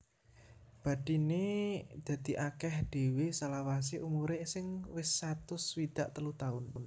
Bathiné dadi akèh dhéwé salawasé umuré sing wis satus swidak telu taun